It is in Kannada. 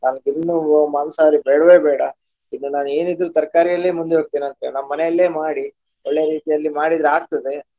ನಾನು ಇನ್ನು ಮಾಂಸಾಹಾರಿ ಬೇಡ್ವೇ ಬೇಡ ಇನ್ನು ನಾನು ಏನಿದ್ರೂ ತರ್ಕಾರಿಯಲ್ಲಿಯೇ ಮುಂದು ಹೋಗ್ತೇನೆ ಅಂತ ನಮ್ಮ ಮನೆಯಲ್ಲಿಯೇ ಮಾಡಿ ಒಳ್ಳೆ ರೀತಿಯಲ್ಲಿ ಮಾಡಿದ್ರೆ ಆಗ್ತದೆ.